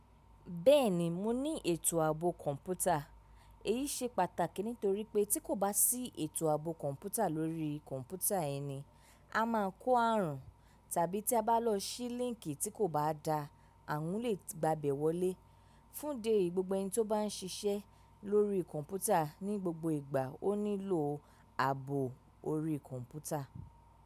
Bẹ́ẹ̀ni mo ní ètò ààbò kọ̀ǹpútà. Èyí ṣe pàtàkì nítorí pé tí kò bá sí ètò ààbò kọ̀ǹpútà lórí kọ̀ǹpútà ẹni, a máa kó àrùn tàbí tí a bá lọ sí líńkì tí kò bá da, ààrùn lè gba bẹ̀ wọlé. Fún idi eyí, gbogbo ẹni tó bá ń siṣẹ́ lórí kọ̀ǹpútà ní gbogbo ìgbà ó nílò ààbò orí kọ̀ǹpútà.